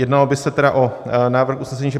Jednalo by se tedy o návrh usnesení, že